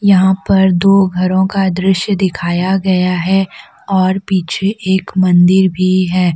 यहां पर दो घरों का दृश्य दिखाया गया है और पीछे एक मंदिर भी है।